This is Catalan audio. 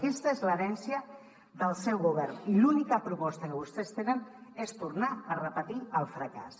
aquesta és l’herència del seu govern i l’única proposta que vostès tenen és tornar a repetir el fracàs